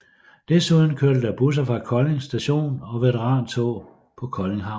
Desuden kørte der busser fra Kolding Station og veterantog på Kolding Havn